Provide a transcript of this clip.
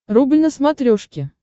рубль на смотрешке